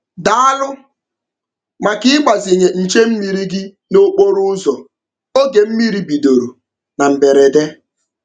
Daalụ maka ịgbazinye nche mmiri gị n'okporoụzọ oge mmiri bidoro na mberede.